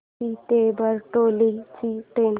वापी ते बारडोली ची ट्रेन